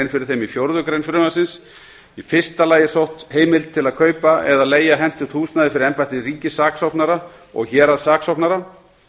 fyrir þeim í fjórðu grein þess í fyrsta lagi er sótt um heimild til að kaupa eða leigja hentugt húsnæði fyrir embætti ríkissaksóknara og héraðssaksóknara